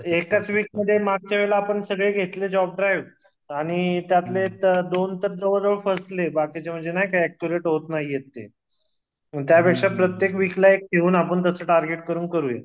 एकाच वीकमध्ये मागच्या आपण सगळे घेतले जॉब ड्राईव्ह आणि त्यातले तर दोन तर जवळ जवळ फसले नाही का अक्यूरेट होत नाही हे ते प्रत्त्येक वीकला एक घेऊन तस टार्गेट करून करूया